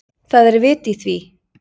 Það er vit í því.